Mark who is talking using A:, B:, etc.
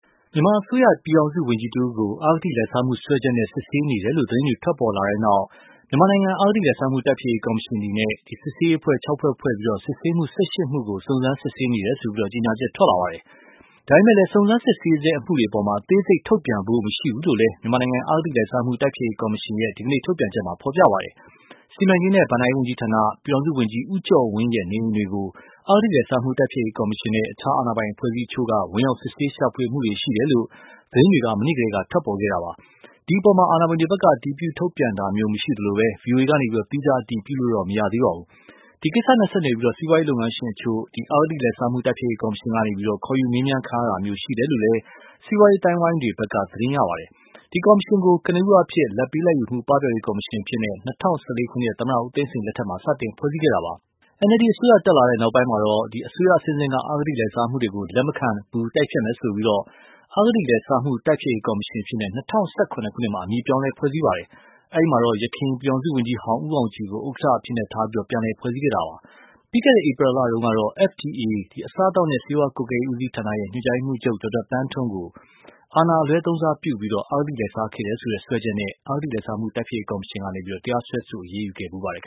A: မြန်မာအစိုးရ ပြည်ထောင်စုဝန်ကြီးတဦးကို အဂတိလိုက်စားမှုစွဲချက်နဲ့ စစ်ဆေးနေတယ်လို့ သတင်းတွေ ထွက်ပေါ်လာတဲ့နောက်၊ မြန်မာနိုင်ငံ အဂတိလိုက်စားမှု တိုက်ဖျက်ရေးကော်မရှင်အနေနဲ့ စစ်ဆေးရေးအဖွဲ့ ၆ ဖွဲ့ ဖွဲ့ပြီး စစ်ဆေးမှု ၁၈ မှုကို စုံစမ်းစစ်ဆေးနေတယ်လို့ ကြေညာချက်ထွက်လာပါတယ်။ ဒါပေမယ့်လည်း စုံစမ်းစစ်ဆေးဆဲအမှုတွေအပေါ် အသေးစိတ်ထုတ်ပြန်ဖို့ မရှိဘူးလို့လည်း မြန်မာနိုင်ငံ အဂတိလိုက်စားမှု တိုက်ဖျက်ရေးကော်မရှင်ရဲ့ ဒီကနေ့ ထုတ်ပြန်ချက်မှာ ဖော်ပြပါရှိပါတယ်။ စီမံကိန်းနဲ့ ဘဏ္ဍာရေးဝန်ကြီးဌာန ပြည်ထောင်စုဝန်ကြီး ဦးကျော်ဝင်းရဲ့ နေအိမ်တွေကို အဂတိလိုက်စားမှုတိုက်ဖျက်ရေးကော်မရှင်နဲ့ အခြားအာဏာပိုင်အဖွဲ့အစည်းအချို့ ဝင်ရောက် စစ်ဆေးရှာဖွေမှုတွေ ရှိခဲ့တယ်လို့ သတင်းတွေ မနေ့ကတည်းက ထွက်ပေါ်ခဲ့တာပါ။ ဒီအပေါ် အာဏာပိုင်တွေဖက်က အတည်ပြု ထုတ်ပြန်တာမျိုးမရှိသလို၊ ဗွီအိုအေ ကနေ သီးခြားအတည်ပြုလို့လည်း မရသေးပါဘူး။ ဒီ ကိစ္စနဲ့ဆက်နွယ်ပြီး စီးပွားရေးလုပ်ငန်းရှင်အချို့ကို အဂတိလိုက်စားမှုတိုက်ဖျက်ရေးကော်မရှင်ကနေ ခေါ်ယူမေးမြန်းတာမျိုးရှိနေတယ်လို့လည်း စီးပွားရေးအသိုင်းအဝိုင်းတွေဖက်က သတင်းရရှိပါတယ်။ ဒီကော်မရှင်ကို ကနဦးအားဖြင့် လာဘ်ပေး လာဘ်ယူမှု ပပျောက်ရေးကော်မရှင်အဖြစ် ၂၀၁၄ ခုနှစ် သမ္မတဦးသိန်းစိန်လက်ထက်မှာ စတင် ဖွဲ့စည်းခဲ့တာပါ။ NLD အစိုးရတက်လာတဲ့နောက်ပိုင်း အစိုးရအဆင့်ဆင့် အဂတိလိုက်စားမှုတွေကို အရေးယူသွားမယ်လို့ဆိုပြီး၊ အဂတိလိုက်စားမှု တိုက်ဖျက်ရေးကော်မရှင်အဖြစ် ၂၀၁၇ ခုနှစ်မှာ အမည်ပြောင်းလဲ ဖွဲ့စည်းပါတယ်။ အဲဒီမှာတော့ ယခင် ပြည်ထောင်စုဝန်ကြီးဟောင်း ဦးအောင်ကြည်ကို ဥက္ကဌအဖြစ်ထား ပြန်လည်ဖွဲ့စည်းခဲ့တာပါ။ ပြီးခဲ့တဲ့ ဧပြီလတုန်းကတော့ FDA အစားအသောက်နဲ့ ဆေးဝါးကွပ်ကဲရေးဦးစီးဌာန ညွန်ကြားရေးမှုးချုပ် ဒေါက်တာသန်းထွဋ်ကို အာဏာအလွဲသုံးစားပြုပြီး အဂတိလိုက်စားခဲ့တယ်ဆိုတဲ့စွဲချက်နဲ့ အဂတိလိုက်စားမှုတိုက်ဖျက်ရေးကော်မရှင်က တရားစွဲ အရေးယူခဲ့ပါတယ်